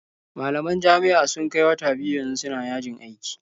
Malaman jami'a sun kai wata biyu yanzu suna yajin aiki.